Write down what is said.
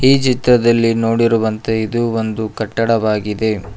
ಈ ಚಿತ್ರದಲ್ಲಿ ನೋಡಿರುವಂತೆ ಇದು ಒಂದು ಕಟ್ಟಡವಾಗಿದೆ.